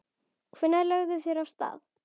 Hvenær lögðu þeir af stað?